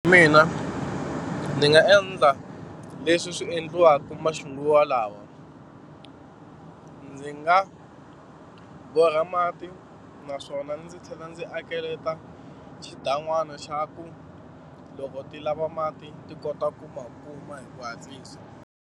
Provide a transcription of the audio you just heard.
Mina ni nga endla leswi swi endliwaka maxinguvalawa. Ndzi nga borha mati naswona ndzi tlhela ndzi akeleta xidan'wana xa ku loko ti lava mati ti kota ku ma kuma hi ku hatlisa.